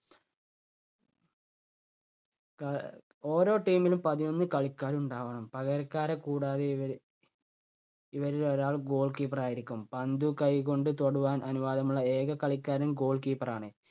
കാഹ് ഓരോ team നും പതിനൊന്ന് കളിക്കാരുണ്ടാവണം. പകരക്കാരെ കൂടാതെ ഇവര് ഇവരിൽ ഒരാൾ goal keeper ആയിരിക്കും. പന്ത് കൈകൊണ്ട് തൊടുവാൻ അനുവാദമുള്ള ഏക കളിക്കാരൻ goal keeper ആണ്.